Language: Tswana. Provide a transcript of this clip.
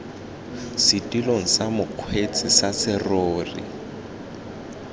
setilong sa mokgweetsi sa serori